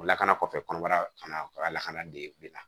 O lakana kɔfɛ kɔnɔbara kan ka lakana dege bi la